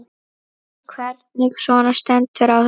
Hvernig svona stendur á þessu?